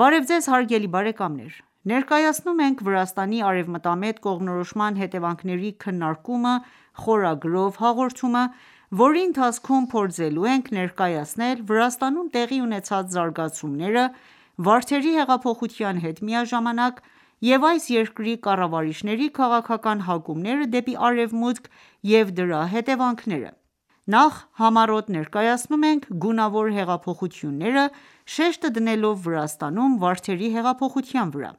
Բարև ձեզ հարգելի բարեկամներ: Ներկայացնում «Վրաստանի արևմտամետ կողմնորոշման հետևանքների քննարկումը» խորագրով նոր հաղորդումը, որի ընթացքում փորձելու ենք ներկայացնել Վրաստանում տեղի ունեցած զարգացումները, Վարդերի հեղափոխության հետ միաժամանակ և այս երկրի կառավարիչների քաղաքական հակումները դեպի արևմուտք և դրա հետևանքները։ Նախ համառոտ ներկայացնում ենք գունավոր հեղափոխությունները՝ շեշտը դնելով Վրաստանում վարդերի հեղափոխության վրա։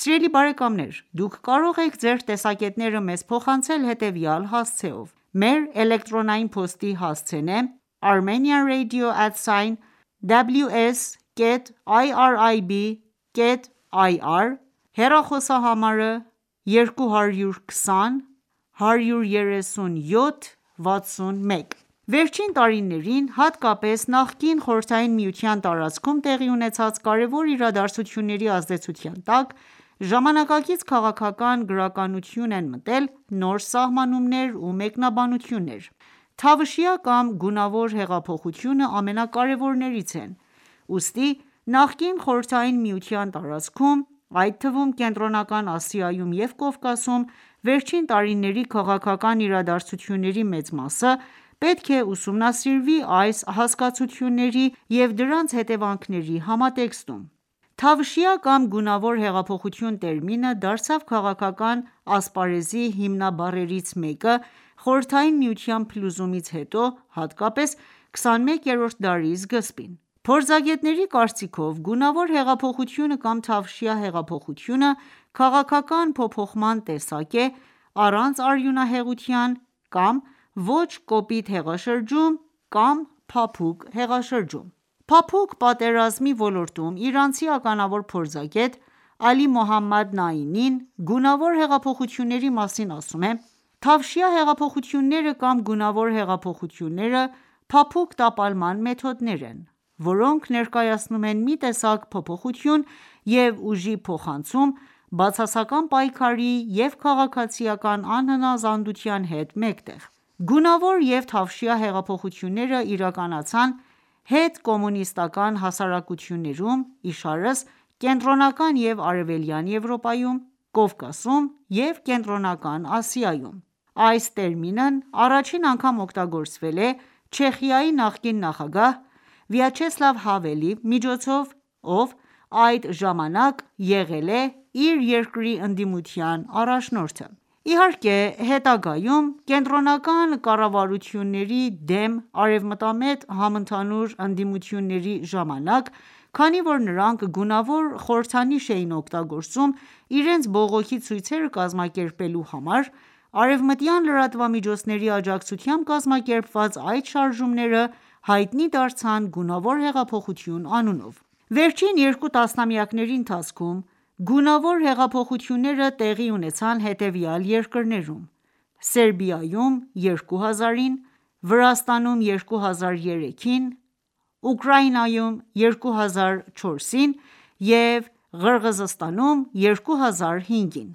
Սիրելի բարեկամներ դուք կարող եք ձեր տեսակետները մեզ փոխանցել հետևյալ հասցեով՝Մեր էլեկտրոնային փոստի հասցեն է armenianradio@ ws.irib.ir, հեռախոսահամարը՝22013761: Վերջին տարիներին, հատկապես նախկին Խորհրդային Միության տարածքում տեղի ունեցած կարևոր իրադարձությունների ազդեցության տակ, ժամանակակից քաղաքական գրականություն են մտել նոր սահմանումներ և մեկնաբանություններ։ Թավշյա կամ գունավոր հեղափոխությունը ամենակարևորներից է, ուստի նախկին Խորհրդային Միության տարածքում, այդ թվում՝ Կենտրոնական Ասիայում և Կովկասում վերջին տարիների քաղաքական իրադարձությունների մեծ մասը պետք է ուսումնասիրվի այս հասկացությունների և դրանց հետևանքների համատեքստում։ Թավշյա կամ գունավոր հեղափոխություն տերմինը դարձավ քաղաքական ասպարեզի հիմնաբառերից մեկը՝ Խորհրդային Միության փլուզումից հետո, հատկապես 21-րդ դարի սկզբին։ Փորձագետների կարծիքով՝ գունավոր հեղափոխությունը կամ թավշյա հեղափոխությունը քաղաքական փոփոխման տեսակ է՝ առանց արյունահեղության կամ ոչ կոպիտ հեղաշրջում կամ փափուկ հեղաշրջում: Փափուկ պատերազմի ոլորտում իրանցի ականավոր փորձագետ՝ Ալի Մոհամմադ Նայինին, գունավոր հեղափոխությունների մասին ասում է.«Թավշյա հեղափոխությունները» կամ «գունավոր հեղափոխությունները» փափուկ տապալման մեթոդներ են, որոնք ներկայացնում են մի տեսակ փոփոխություն և ուժի փոխանցում ,բացասական պայքարի և քաղաքացիական անհնազանդության հետ մեկտեղ։ Գունավոր և թավշյա հեղափոխությունները իրականացան հետ կոմունիստական հասարակություններում ,իշարս՝ Կենտրոնական և արևելյան Եվրոպայում, Կովկասում և կենտրոնական Ասիայում: Այս տերմինն առաջին անգամ օգտագործել է Չեխիայի նախկին նախագահ Վացլավ Հավելը, ով այդ ժամանակ եղել է իր երկրի ընդդիմության առաջնորդը»։ Իհարկե հետագայում, կենտրոնական կառավարությունների դեմ արևմտամետ համընդհանուր ընդդիմությունների ժամանակ, քանի որ նրանք գունավոր խորհրդանիշ էին օգտագործում իրենց բողոքի ցույցերը կազմակերպելու համար, արեւմտյան լրատվամիջոցների աջակցությամբ կազմակերպված այս շարժումները, հայտնի դարձան «գունավոր հեղափոխություն» անունով։ Վերջին երկու տասնամյակների ընթացքում գունավոր հեղափոխություններ տեղի ունեցան հետևյալ երկրներում՝ Սերբիայում -ին, Վրաստանում -ին, Ուկրաինայում -ին և Ղրղզստանում -ին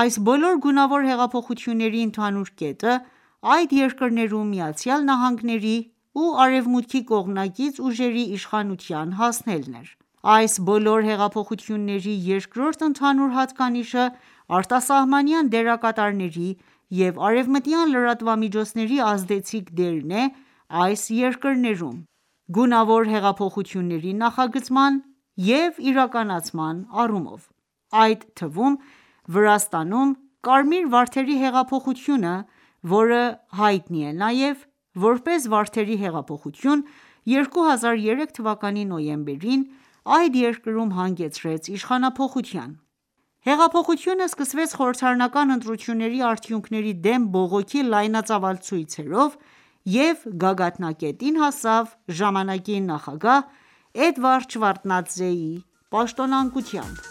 :Այս բոլոր գունավոր հեղափոխությունների ընդհանուր կետը ՝այդ երկրներում ԱՄՆ-ի ու արևմուտքի կողմնակից ուժերի իշխանության հասնելն էր: Այս բոլոր հեղափոխությունների երկրորդ ընդհանուր հատկանիշը՝ արտասահմանյան դերակատարների և արևմտյան լրատվամիջոցների ազդեցիկ դերն է՝ այս երկրներում ,գունավոր հեղափոխությունների նախագծման և իրականացման առումով: Այդ թվում, Վրաստանում, Կարմիր վարդի հեղափոխությունը, որը հայտնի է նաև ,որպես Վարդերի հեղափոխություն,2003 թվականի նոյեմբերին, այդ երկրում հանգեցրեց իշխանափոխության։ Հեղափոխությունը սկսվեց խորհրդարանական ընտրությունների արդյունքների դեմ բողոքի լայնածավալ ցույցերով և գագաթնակետին հասավ ժամանակի նախագահ Էդուարդ Շևարդնաձեի պաշտոնանկությամբ։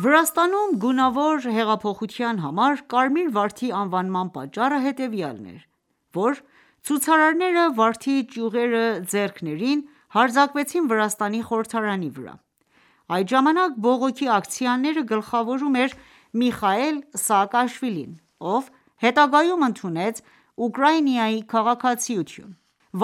Վրաստանում ,գունավոր հեղափոխության համար կարմիր վարդի անվանման պատճառը հետևյալն է,որ, ցուցարարները վարդի ճյուղերը ձեռքներին հարձակվեցին Վրաստանի խորհրդարանի վրա։ Այդ ժամանակ, բողոքի ակցիաները գլխավորում էր Միխայիլ Սահակաշվիլին, ով հետագայում ընդունեց Ուկրաինայի քաղաքացիություն։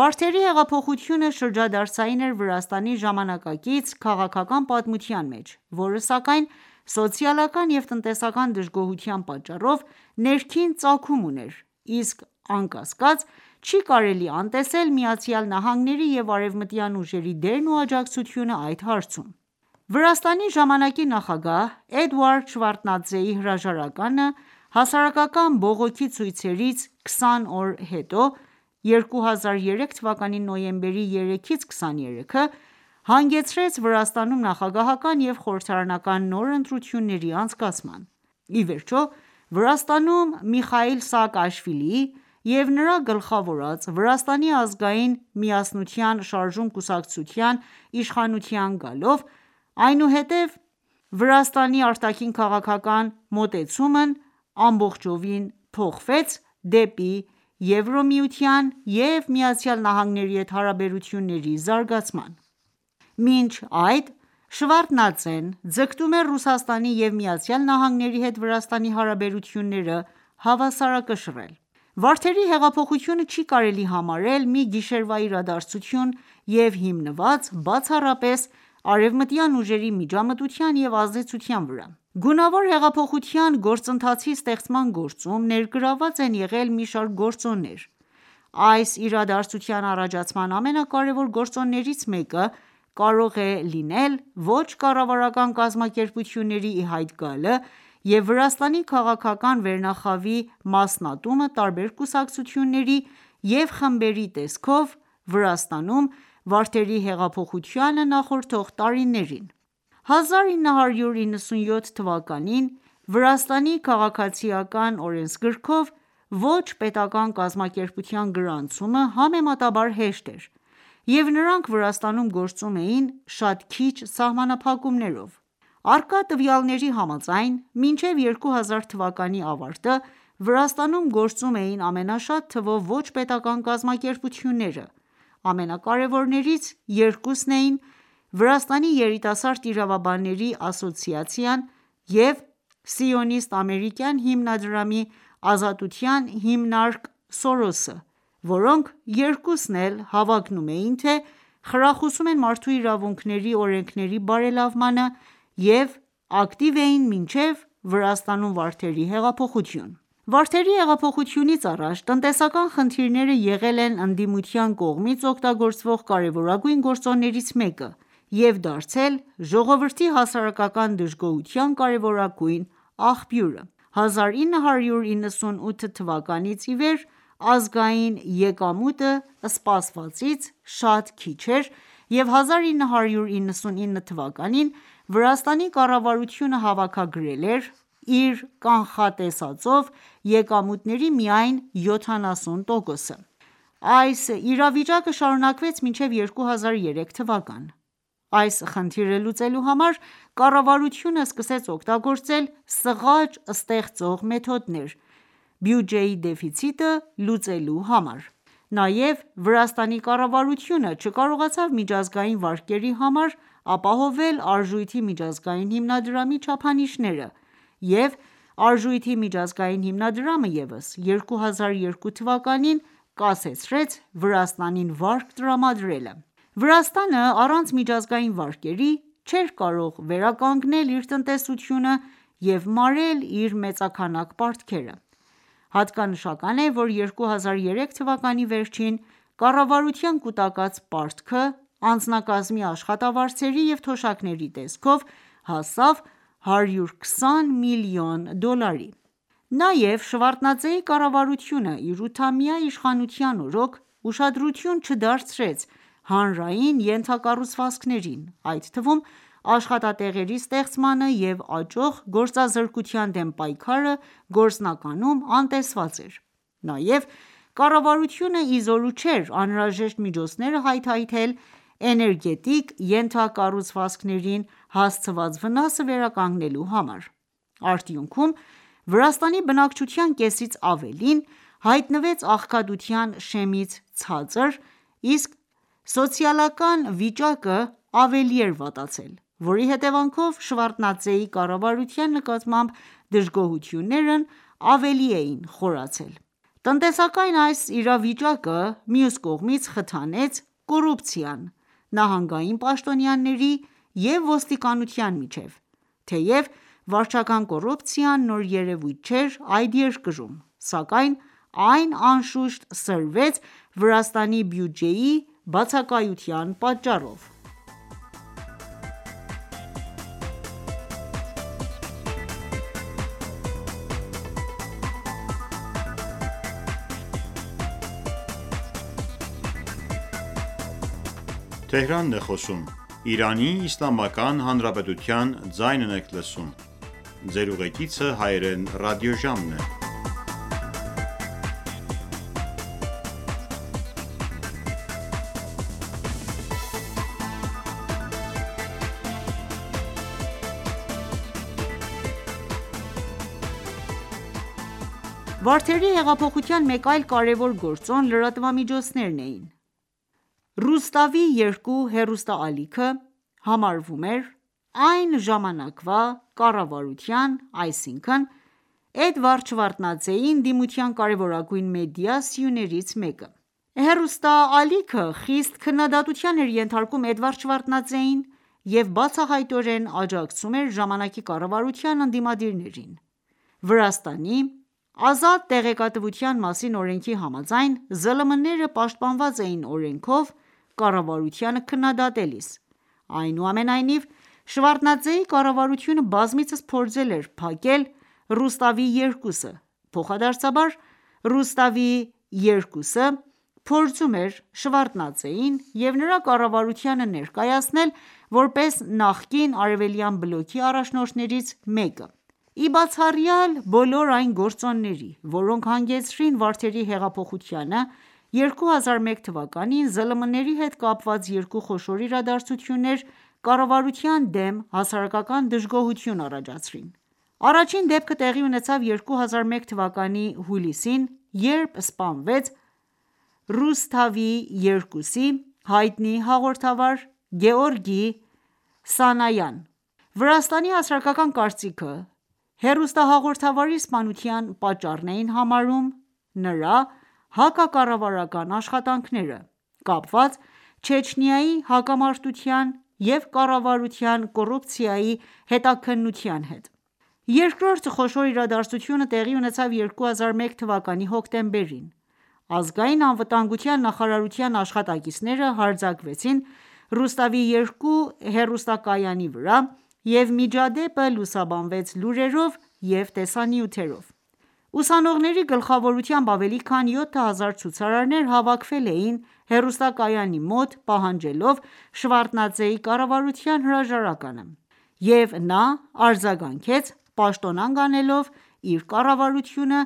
Վարդերի հեղափոխությունը շրջադարձային էր Վրաստանի ժամանակակից քաղաքական պատմության մեջ, որը սակայն, սոցիալական և տնտեսական դժգոհության պատճառով, ներքին ծագում ուներ, իսկ անկասկած չի կարելի անտեսել ԱՄՆ-ի և արևմտյան ուժերի դերն ու աջակցությունը այդ հարցում: Վրաստանի ժամանակի նախագահ Էդուարդ Շևարդնաձեի հրաժարականը, հասարակական բողոքի ցույցերից 20 օր հետո ,(2003թ. նոյեմբերի 3-23) հանգեցրեց Վրաստանում նախագահական և խորհրդարանական նոր ընտրությունների անցկացման։ Իվերջո, Վրաստանում Միխայիլ Սաակաշվիլիի և նրա գլխավորած «Վրաստանի ազգային միասնության շարժում» կուսակցության իշխանության գալով, այնուհետ Վրաստանի արտաքին քաղաքական մոտեցումն ամբողջությամբ փոխվեց դեպի Եվրամիության և Միացյալ Նահանգների հետ հարաբերությունների զարգացման:Մինչ այդ ,Շևարդնադձեն ձգտում էր Ռուսաստանի և ԱՄՆ-ի հետ Վրաստանի հարաբերությունները հավասարակշռել: Վարդերի հեղափոխությունը չի կարելի համարել մի գիշերվա իրադարձություն և հիմնված բացառապես արեւմտյան ուժերի միջամտության եւ ազդեցության վրա։ Գունավոր հեղափոխության գործընթացի ստեղծման գործում ներգրավված են եղել մի շարք գործոններ:Այս իրադարձության առաջացման ամենակարևոր գործոններից մեկը կարող է լինել ոչ կառավարական կազմակերպությունների ի հայտ գալը և Վրաստանի քաղաքական վերնախավի մասնատումը տարբեր կուսակցությունների և խմբերի տեսքով՝ Վրաստանում ,Վարդերի հեղափոխությանը նախորդող տարիներին։1997 թվականի Վրաստանի քաղաքացիական օրենսգրքով ոչ պետական կազմակերպության գրանցումը համեմատաբար հեշտ էր, և նրանք Վրաստանում՝ գործում էին շատ քիչ սահմանափակումներով:Առկա տվյալների համաձայն՝ մինչև 2000 թվականի ավարտը, Վրաստանում գործում էին ամենաշատ թվով ոչ պետական կազմակերպությունները:Ամենակարևորներից երկուսն էին՝ Վրաստանի երիտասարդ իրավաբանների ասոցիացիան և սիոնիստ-ամերիկյան հիմնադրամի Ազատության հիմնարկ՝սորոսը, որոնք երկուսն էլ հավակնում էին, թե՝ խրախուսում են մարդու իրավունքների օրենքների բարելավմանը, և ակտիվ էին մինչև Վրաստանում Վարդերի հեղափոխություն: Վարդերի հեղափոխությունից առաջ, տնտեսական խնդիրները եղել են ընդդիմության կողմից օգտագործվող կարևորագույն գործոններից մեկը և դարձել ժողովրդի հասարակական դժգոհության կարևորագույն աղբյուրը։1998 թվականից ի վեր ազգային եկամուտը սպասվածից շատ քիչ էր և 1999 թվականին Վրաստանի կառավարությունը հավաքագրել էր իր կանխատեսվող եկամուտների միայն 70%-ը։Այս իրավիճակը շարունակվեց մինչև 2003թ:Այս խնդիրը լուծելու համար կառավարությունը սկսեց օգտագործել սղաճ ստեղծող մեթոդներ, բյուջեի դեֆիցիտը լուծելու համար:Նաև Վրաստանի կառավարությունը չկարողացավ միջազգային վարկերի համար ապահովել արժույթի միջազգային հիմնադրամի չափանիշները ,և արժույթի միջազգային հիմնադրամը ևս 2002 թվականին կասեցրեց Վրաստանին վարկ տրամադրելը: Վրաստանը առանց միջազգային վարկերի ,չէր կարող վերականգնել իր տնտեսությունը և մարել իր մեծաքանակ պարտքերը: Հատկանշական է ,որ 2003 թվականի վերջին, կառավարության կուտակած պարտքը անձնակազմի աշխատավարձերի և թոշակների տեսքով, հասավ 120 միլիոն դոլարի։ Նաև Շևարդնաձեի կառավարությունը ,իր ութամյա իշխանության օրոք ուշադրություն չդարձրեց հանրային ենթակառուցվածքներին ,այդ թվում աշխատատեղերի ստեղծմանը և աճող գործազրկության դեմ պայքարը գործնականում անտեսված էին:Նաև, կառավարությունը իզորու չէր անհրաժեշտ միջոցները հայթայթել, էներգետիկ ենթակառուցվածքներին հասցված վնասը վերականգնելու համար:Արդյունքում ,Վրաստանի բնակչության կեսից ավելին հայտնվեց աղքատության շեմից ցածր, իսկ սոցիալական վիճակը ավելի էր վատացել, որի հետևանքով Շեւարդնաձեի կառավարության նկատմամբ դժգոհություններն ավելի էին խորացել։ Տնտեսական այս իրավիճակը, մյուս կողմից, խթանեց կոռուպցիան ,նահանգային պաշտոնյաների և ոստիկանության միջև, թեև վարչական կոռուպցիան նոր երևույթ չէր այդ երկրում, սակայն այն անշուշտ սրվեց Վրաստանի բյուջեի բացակայության պատճառով: Վարդերի հեղափոխության մեկ այլ կարևոր գործոն՝ լրատվամիջոցներն էին:Ռուսթավի-2 հեռուստաալիքը համարվում էր այն ժամանակվա կառավարության ,այսինքն՝Էդվարդ Շևարդնաձեի ընդդիմության կարևորագույն մեդիա սյուներից մեկը։ Հեռուստաալիքը խիստ քննադատության էր ենթարկում Էդուարդ Շևարդնաձեին և բացահայտորեն աջակցում էր ժամանակի կառավարության ընդիմադիրներին: Վրաստանի «Ազատ տեղեկատվության մասին» օրենքի համաձայն՝ ԶԼՄ-ները պաշտպանված էին օրենքով՝ կառավարությանը քննադատելիս:Այնուամենայնիվ, Շևարդնաձեի կառավարությունը բազմիցս փորձել էր փակել «Ռուսթավի-2»-ը,փոխադարձաբար՝ «Ռուսթավի-2»-ը փորձում էր Շևարդնաձեին և նրա կառավարությանը ներկայացնել, որպես նախկին Արևելյան բլոկի առաջնորդներից մեկը:Ի բացառյալ բոլոր այն գործոնների, որոնք հանգեցրին Վարդերի հեղափոխությանը,2001 թվականին ԶԼՄ-ների հետ կապված երկու խոշոր իրադարձություններ կառավարության դեմ հասարակական դժգոհություն առաջացրին: Առաջին դեպքը տեղի ունեցավ 2001 թվականի հուլիսին, երբ սպանվեց «Ռուսթավի-2»-ի հայտնի հաղորդավար Գեորգի Սանայան։ Վրաստանի հասարակական կարծիքը, հեռուստահաղորդավարի սպանության պատճառն էին համարում, նրա հակակառավարական աշխատանքները ,կապված Չեչնիայի հակամարտության և կառավարության կոռուպցիայի հետաքննության հետ: Երկրորդ խոշոր իրադարձությունը տեղի ունեցավ 2001 թվականի հոկտեմբերին, ազգային անվտանգության նախարարության աշխատակիցները հարձակվեցին «Ռուսթավի-2» հեռուստակայանի վրա,և միջադեպը լուսաբանվեց լուրերով և տեսանյութերով։ Ուսանողների գլխավորությամբ ավելի քան 7000 ցուցարարներ հավաքվել էին հեռուստակայանի մոտ՝ պահանջելով Շևարդնաձեի կառավարության հրաժարականը, և նա արձագանքեց՝ պաշտոնանկ անելով իր կառավարությունը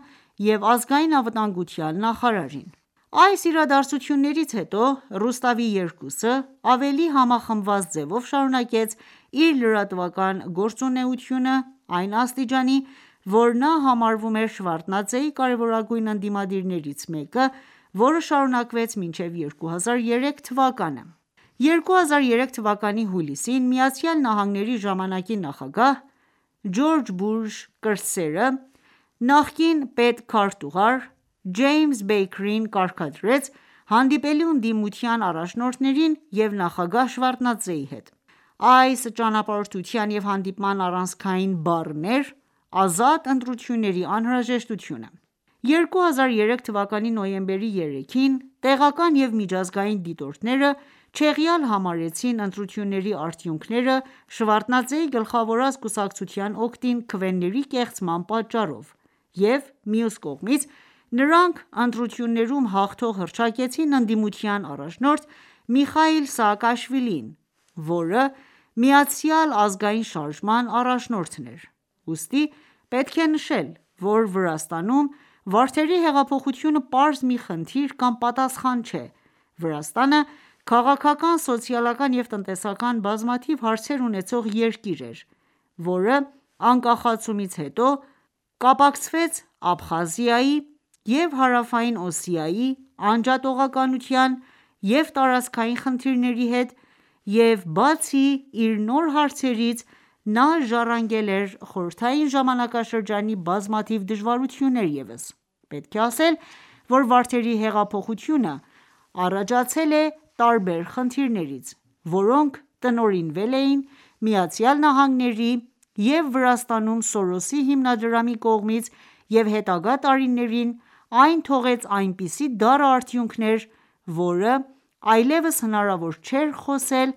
և ազգային անվտանգության նախարարին:Այս իրադարձություններից հետո «Ռուսթավի-2»-ը ավելի համախմբված ձևով շարունակեց իր լրատվական գործունեությունը, այն աստիճանի, որ նա համարվում էր Շևարդնաձեի կարևորագույն ընդդիմադիրներից մեկը ,որը շարունակվեց մինչև 2003 թվականը: 2003 թվականի հուլիսին, ԱՄՆ-ի ժամանակի նախագահ Ջորջ Բուշ կրտսերը, նախկին պետքարտուղար Ջեյմս Բեյքերին կարգադրեց հանդիպելու ընդդիմության առաջնորդների և նախագահ Շևարդնաձեի հետ:Այս ճամփորդության ու հանդիպման առանցքային բառն էր՝ ազատ ընտրությունների անհրաժեշտությունը։2003 թվականի նոյեմբերի 3-ին տեղական և միջազգային դիտորդները չեղյալ համարեցին ընտրությունների արդյունքները Շևարդնաձեի գլխավորած կուսակցության օգտին քվեների կեղծման պատճառով և մյուս կողմից, նրանք ընտրություններում հաղթող հռչակեցին ընդդիմության առաջնորդ Միխայիլ Սահակաշվիլիին ,որը «Միացյալ ազգային շարժման» առաջնորդն էր ։Ուստի պետք է նշել, որ Վրաստանում վարդերի հեղափոխությունը պարզ մի խնդիր կամ պատասխան չէ, Վրաստանը, քաղաքական, սոցիալական և տնտեսական բազմաթիվ հարցեր ունեցող երկիր էր, որը անկախացումից հետո կապակցվեց Աբխազիայի և Հարավային Օսիայի անջատողականության և տարածքային խնդիրների հետ և բացի իր նոր հարցերից նա ժառանգել էր խորհրդային ժամանակաշրջանի բազմաթիվ դժվարություններ ևս:Պետք է ասել, որ «վարդերի հեղափոխությունը» առաջացել է տարբեր խնդիրներից, որոնք տնօրինվել էին ԱՄՆ-ի և Վրաստանում Սորոսի հիմնադրամի կողմից և հետագա տարիներին այն թողեց այնպիսի դառը արդյունքներ, որ այլեւս հնարավոր չէր խոսել